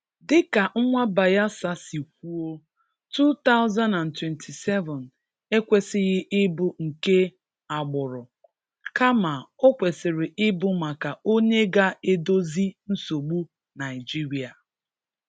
Dị ka nwa Bayelsa si kwuo, 2027 ekwesịghị ịbụ nke agbụrụ, kama ọ kwesịrị ịbụ maka onye ga-edozi nsogbu Naịjịrịa.